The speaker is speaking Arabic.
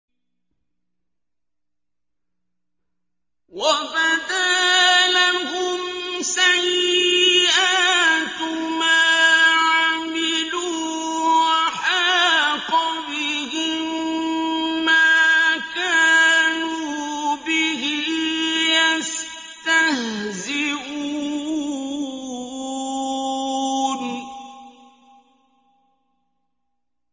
وَبَدَا لَهُمْ سَيِّئَاتُ مَا عَمِلُوا وَحَاقَ بِهِم مَّا كَانُوا بِهِ يَسْتَهْزِئُونَ